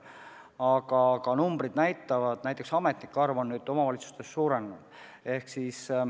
Aga numbrid näitavad, et näiteks ametnike arv on nüüd omavalitsustes suurenenud.